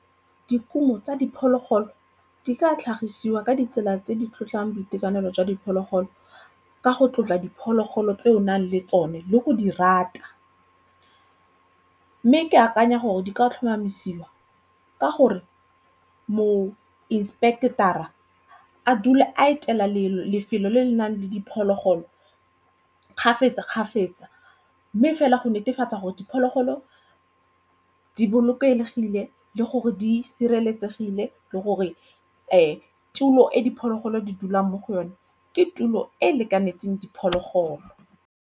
Dikumo tsa diphologolo di ka tlhagisiwa ka ditsela tse di tlotlang boitekanelo jwa diphologolo ka go tlotla diphologolo tse o nang le tsone le go di rata. Mme ke akanya gore di ka tlhomamisiwa ka gore mo inspector-ra a dula a etela lefelo lefelo le le nang le diphologolo kgafetsa-kgafetsa mme fela go netefatsa gore diphologolo di bolokegile le gore di sireletsegile le gore tulo e diphologolo di dulang mo go yone ke tulo e e lekaneng diphologolo.